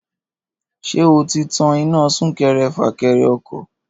Ṣé o ti tan iná súnkẹrẹ-fàkẹrẹ ọkọ̀